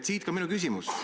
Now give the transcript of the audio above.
Siit ka minu küsimus.